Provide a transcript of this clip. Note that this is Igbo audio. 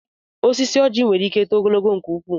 Osisi ọjị nwere ike too ogologo nke ukwu.